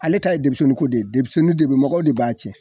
Ale ta ye denmisennin ko de, deminɛnnin de b mɔgɔw de b'a tiɲɛ.